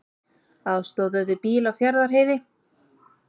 Aðstoðuðu bíl á Fjarðarheiði